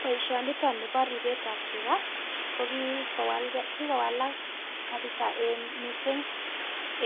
Boisionito nibo ripet ab tuga ko kigowalak kapiisa mising